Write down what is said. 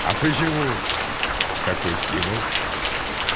а почему такой стимул